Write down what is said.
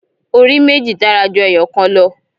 Orí méjì dára ju ẹyọ̀kan lọ.